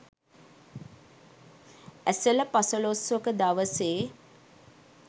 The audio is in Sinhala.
ඇසළ පසළොස්වක දවසේ